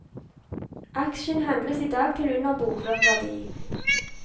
Aksjen handles i dag til under bokført verdi.